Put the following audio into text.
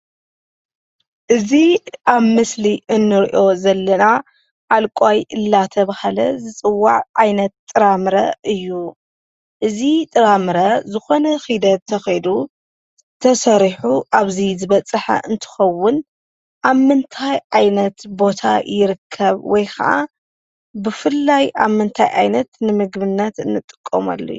እዚ ኣብ ምስሊ እንርእዮ ዘለና ዓልቋይ እንዳተበሃለ ዝፅዋዕ ዓይነት ጥራምረ እዩ። እዚ ጥራምረ ዝኾነ ኺደት ተኸይዱ ተሰሪሑ ኣብዚ ዝበፅሐ እንትኸውን ኣብ ምንታይ ዓይነት ቦታ ይርከብ ? ወይኸዓ ብፍላይ ኣብ ምንታይ ዓይነት ንምግብነት እንጥቀመሉ እዩ?